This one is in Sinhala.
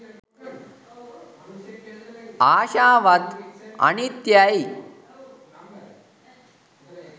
ආශාවත් අනිත්‍යයයි